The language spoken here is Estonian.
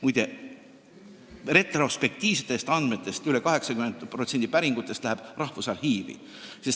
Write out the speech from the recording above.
Muide, retrospektiivsete andmete puhul läheb üle 80% päringutest Rahvusarhiivi.